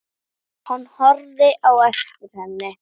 Hann horfði á eftir henni.